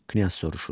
Knyaz soruşur.